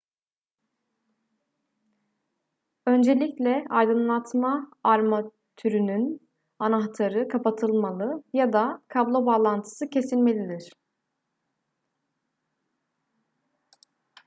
öncelikle aydınlatma armatürünün anahtarı kapatılmalı ya da kablo bağlantısı kesilmelidir